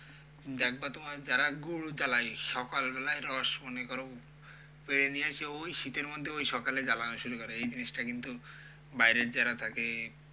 দেখবা তোমার যারা গুড় জ্বালায় সকাল বেলায় রস মনে করো পেরে নিয়ে এসে ওই শীতের মধ্যে ওই সকালে জ্বালানো শুরু করে, এই জিনিসটা কিন্তু বাইরের যারা থাকে,